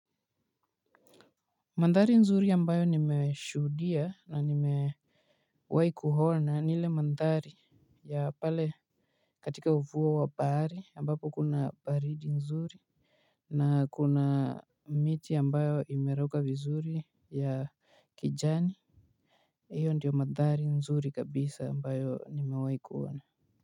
Mandhari nzuri ambayo nimeshudia na nimewai kuhona ni ile mandhari ya pale katika uvuwa wa bahari ambapo kuna baridi nzuri. Na kuna miti ambayo imeroka vizuri ya kijani. Iyo ndiyo mandhari nzuri kabisa ambayo nimewai kuhona.